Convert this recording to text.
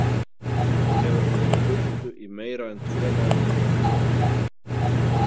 Nú hefur hún verið burtu í meira en tvo mánuði.